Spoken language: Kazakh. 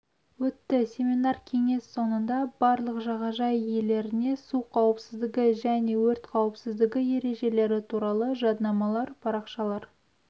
өтті семинар-кеңес соңында барлық жағажай иелеріне су қауіпсіздігі және өрт қауіпсіздігі ережелері туралы жаднамалар парақшалар